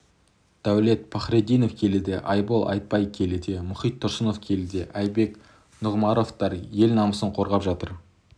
дәулет пахриддинов келіде айбол айтбек келіде мұхит тұрсынов келіде айбек нұғымаровтар ел намысын қорғап жатыр